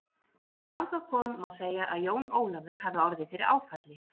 Þegar þangað kom má segja að Jón Ólafur hafi orðið fyrir áfalli.